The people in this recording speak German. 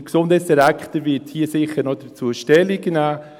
– Der Gesundheitsdirektor wird hierzu sicher noch Stellung nehmen.